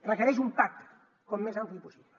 requereix un pacte el més ampli possible